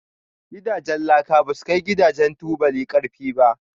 Gidajen laka basu kai Gidajen tubuli karfi ba.